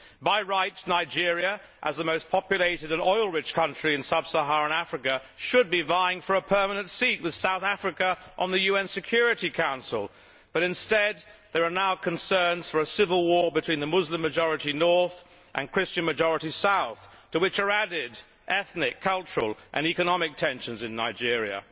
By rights Nigeria as the most populated and oil rich country in Sub Saharan Africa should be vying for a permanent seat with South Africa on the UN Security Council, but instead there are now concerns about a civil war between the Muslim majority north and Christian majority south, to which are added ethnic, cultural and economic tensions in Nigeria.